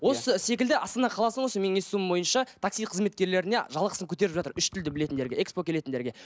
осы секілді астана қаласының осы менің естуім бойынша такси қызметкерлеріне жалақысын көтеріп жатыр үш тілді білетіндерге экспо келетіндерге